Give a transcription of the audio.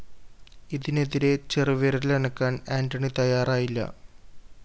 ഇതിനെതിരെ ചെറുവിരലനക്കാന്‍ ആന്റണി തയ്യാറായില്ല